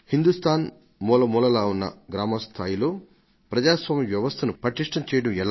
హిందుస్థాన్ మూలమూలలా ఉన్న గ్రామస్థాయిలో ప్రజాస్వామ్య వ్యవస్థను పటిష్టం చేయడం ఎలా